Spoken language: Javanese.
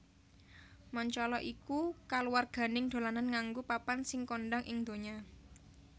Mancala iku kaluwarganing dolanan nganggo papan sing kondhang ing ndonya